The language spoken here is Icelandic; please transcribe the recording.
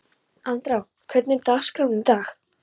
Andrá, hvernig er dagskráin í dag?